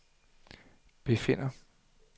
befinder